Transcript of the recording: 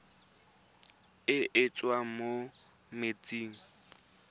e e tswang mo metsing